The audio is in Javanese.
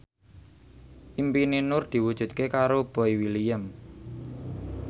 impine Nur diwujudke karo Boy William